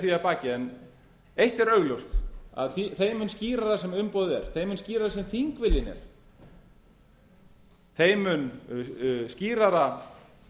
því að baki en eitt er augljóst þeim mun skýrara sem umboðið er þeim mun skýrari sem þingviljinn er þeim mun skýrara